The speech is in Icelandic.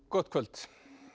gott kvöld